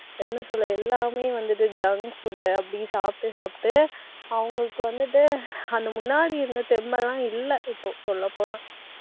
என்ன சொல்ல எல்லாமே வந்துட்டு junk food அப்படி சாப்பிட்டு, சாப்பிட்டு அவங்களுக்கு வந்துட்டு அந்த முன்னாடி இருந்த தெம்மெல்லாம் இல்லை. இப்போ சொல்லப்போனா